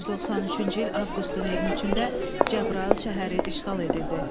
1993-cü il avqustun 23-də Cəbrayıl şəhəri işğal edildi.